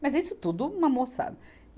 Mas isso tudo uma moçada.